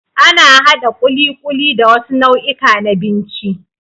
Ana haɗa ƙuliƙuli da wasu nau'ika na binci.